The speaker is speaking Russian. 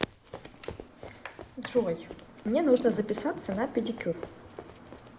джой мне нужно записаться на педикюр